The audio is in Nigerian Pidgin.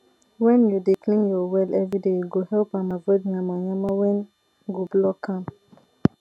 wen u dey clean ur well everyday e go help am avoid yamayama wen go block am